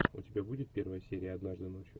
у тебя будет первая серия однажды ночью